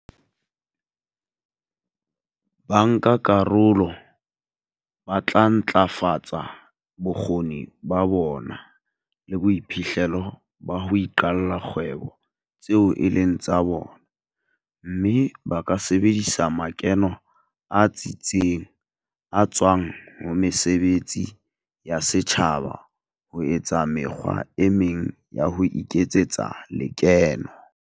Bankakarolo ba tla ntlafatsa bokgoni ba bona le boiphihlelo ba ho iqalla dikgwebo tseo e leng tsa bona, mme ba ka sebedisa makeno a tsitseng a tswang ho mesebetsi ya setjhaba ho etsa mekgwa e meng ya ho iketsetsa lekeno.